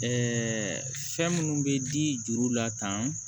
fɛn minnu bɛ di juru la tan